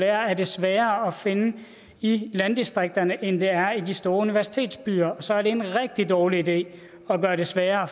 er det sværere at finde i landdistrikterne end det er i de store universitetsbyer og så er det en rigtig dårlig idé at gøre det sværere